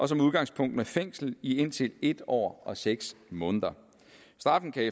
som udgangspunkt med fængsel i indtil en år og seks måneder straffen kan